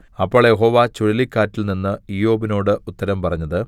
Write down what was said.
അപ്പോൾ യഹോവ ചുഴലിക്കാറ്റിൽനിന്ന് ഇയ്യോബിനോട് ഉത്തരം പറഞ്ഞത്